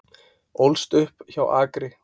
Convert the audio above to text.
Ólst upp hjá Akri